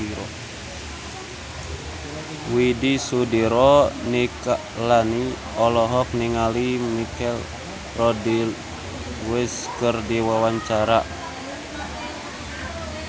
Widy Soediro Nichlany olohok ningali Michelle Rodriguez keur diwawancara